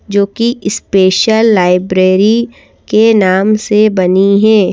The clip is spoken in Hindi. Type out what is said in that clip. जो कि स्पेशल लाइब्रेरी के नाम से बनी है।